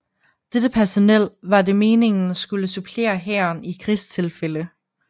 Dette personel var det meningen skulle supplere hæren i krigstilfælde